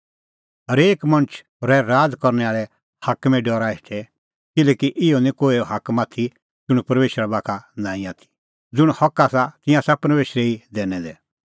हरेक मणछ रहै राज़ करनै आल़ै हाकमे डरा हेठै किल्हैकि इहअ निं कोहै हाकम आथी ज़ुंण परमेशरा बाखा का नांईं आथी ज़ुंण हक आसा तिंयां आसा परमेशरै ई दैनै दै